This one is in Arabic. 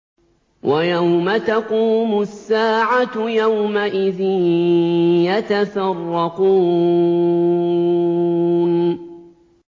وَيَوْمَ تَقُومُ السَّاعَةُ يَوْمَئِذٍ يَتَفَرَّقُونَ